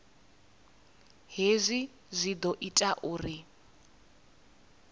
hezwi zwi ḓo ita uri